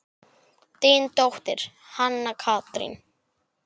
Þín dóttir, Hanna Katrín.